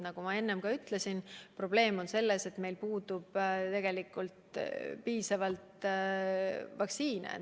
Nagu ma enne ka ütlesin, probleem on selles, et meil pole tegelikult piisavalt vaktsiine.